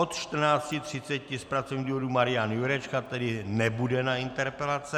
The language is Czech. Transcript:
Od 14.30 z pracovních důvodů Marian Jurečka, tedy nebude na interpelace.